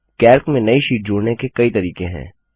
Calc में नई sheet जोड़ने के कई तरीके हैं